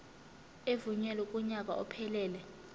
evunyelwe kunyaka ophelele